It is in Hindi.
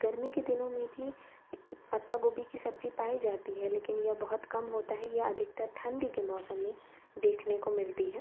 गर्मी के दिनों मे भी पत्ता गोबी की सब्जी पाई जाती है लेकिन ये बहोत कम होता है। ये अधिकतर ठंडी के मौसम में देखने को मिलती है।